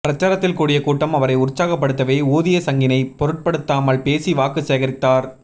பிரசாரத்தில் கூடிய கூட்டம் அவரை உற்சாகப்படுத்தவே ஊதிய சங்கினை பொருட்படுத்தாமல் பேசி வாக்கு சேகரித்தார்